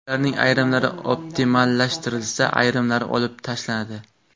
Ularning ayrimlari optimallashtirilsa, ayrimlari olib tashlanadi.